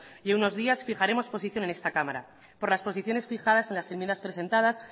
y en unos días fijaremos posición en esta cámara por las posiciones fijadas en las enmiendas presentadas